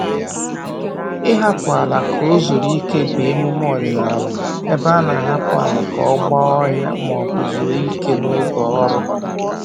Ịhapụ ala ka o zuru ike bụ emume ọdịnaala ebe a na-ahapụ ala ka ọ gba ọhịa maọbụ zuo ike n'oge ọrụ